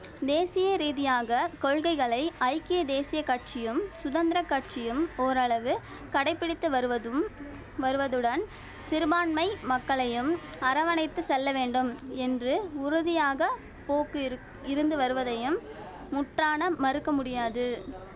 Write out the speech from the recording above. தேசிய ரீதியாக கொள்கைகளை ஐக்கிய தேசிய கட்சியும் சுதந்திர கட்சியும் ஓரளவு கடைப்பிடித்து வருவதும் வருவதுடன் சிறுபான்மை மக்களையும் அரவணைத்து செல்ல வேண்டும் என்று உறுதியாக போக்கு இருக் இருந்து வருவதையும் முற்றாக மறுக்க முடியாது